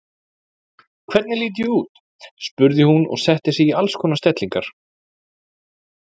Hvernig lít ég út? spurði hún og setti sig í alls konar stellingar.